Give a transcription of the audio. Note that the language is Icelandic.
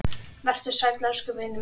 Vertu sæll elsku vinur minn.